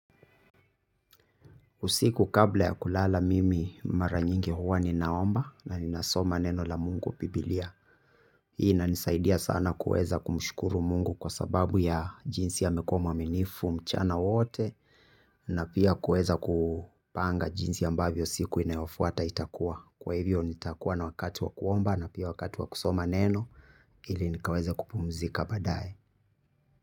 Usiku kabla ya kulala mimi mara nyingi huwa ninaomba na ninasoma neno la mungu bibilia. Hii inanisaidia sana kuweza kumshukuru mungu kwa sababu ya jinsi amekuwa mwaminifu mchana wote na pia kuweza kupanga jinsi ambavyo siku inayofuata itakuwa. Kwa hivyo nitakuwa na wakati wa kuomba na pia wakati wa kusoma neno ili nikaweza kupumzika baadaye.